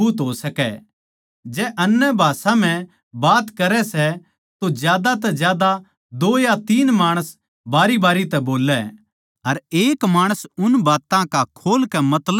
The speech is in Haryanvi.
जै अन्यभाषा म्ह बात करै तो ज्यादा तै ज्यादा दो या तीन माणस बारीबारी तै बोल्लै अर एक माणस उन बात्तां का खोल कै मतलब भी बतावै